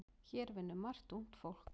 Hér vinnur margt ungt fólk.